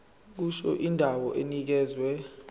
kusho indawo enikezwe